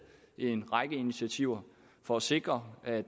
en række initiativer for at sikre at